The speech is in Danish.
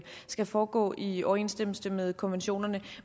skal foregå i overensstemmelse med konventionerne